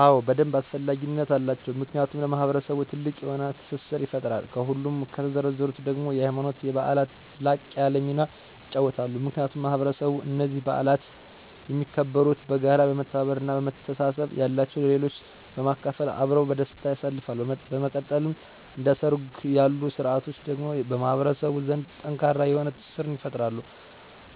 አዎን በደንብ አስፈላጊነት አላቸው። ምክንያቱም ለማህበረሰቡ ትልቅ የሆነ ትስስርን ይፈጥራል፤ ከሁሉም ከተዘረዘሩትም ደግሞ የሀይማኖት በዓላት ላቅ ያለ ሚናን ይጫወታሉ። ምክንያቱም ማህበረሰብ እኒህን በዓላት የሚያከብሩት በጋራ፣ በመተባበር እና በመተሳሰብ፤ ያላቸው ለሌላቸው በማካፈል አብረው በደስታ ያሳልፉታል። በመቀጠልም እንደ ሠርግ ያሉ ስርዓቶች ደግሞ በማህበረሰቡ ዘንድ ጠንካራ የሆነ ትስስርን ይፈጥራሉ፤